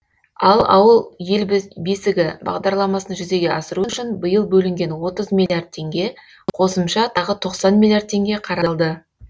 ал ауыл ел бесігі бағдарламасын жүзеге асыру үшін биыл бөлінген отыз миллиард теңге қосымша тағы тоқсан миллиард теңге қаралды